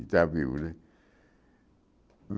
Que está vivo, né?